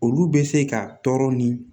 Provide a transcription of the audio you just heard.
Olu bɛ se ka tɔɔrɔ ni